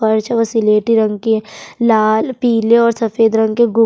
फर्च जो सिलेटी रंग के लाल पीले और सफेद रंग के गुप --